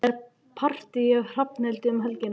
Það er partí hjá Hrafnhildi um helgina.